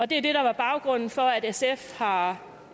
det der er baggrunden for at sf har